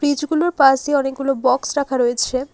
কিছুগুলোর পাশ দিয়ে বক্স রাখা রয়েছে।